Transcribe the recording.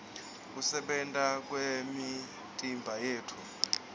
kusebenta kwemitimbayetfu